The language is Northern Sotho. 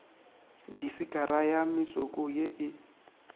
disikara ya metsoko ye e